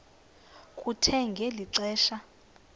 kuthe ngeli xesha